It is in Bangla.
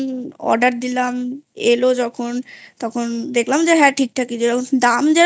Order দিলাম এলো যখন তখন দেখলাম যে হ্যাঁ ঠিক ঠাকই যেরকম